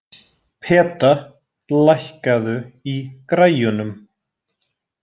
Peta, lækkaðu í græjunum.